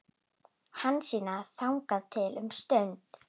Hansína þagði um stund.